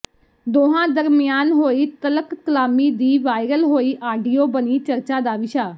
ਦੋਹਾਂ ਦਰਮਿਆਨ ਹੋਈ ਤਲਕਕਲਾਮੀ ਦੀ ਵਾਇਰਲ ਹੋਈ ਆਡੀਓ ਬਣੀ ਚਰਚਾ ਦਾ ਵਿਸ਼ਾ